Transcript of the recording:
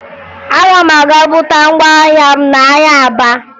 Aga m aga buta ngwa ahịa m n'ahịa Aba